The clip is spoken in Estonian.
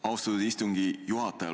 Austatud istungi juhataja!